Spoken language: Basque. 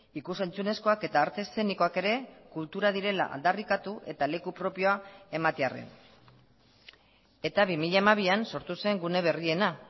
ikus entzunezkoak eta arte eszenikoak ere kultura direla aldarrikatu eta leku propioa ematearren eta bi mila hamabian sortu zen gune berriena